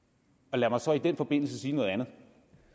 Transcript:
lad mig så i den forbindelse sige noget andet